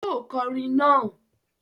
Yóò kọrin naa!